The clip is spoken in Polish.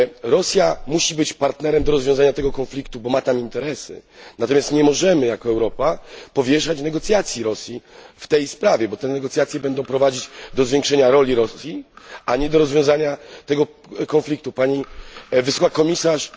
Rosja musi być partnerem do rozwiązania tego konfliktu, bo ma tam interesy, natomiast nie możemy jako Europa powierzać Rosji negocjacji w tej sprawie, ponieważ będzie to prowadzić do zwiększenia roli Rosji, a nie do rozwiązania tego konfliktu. Pani Wysoka Przedstawiciel!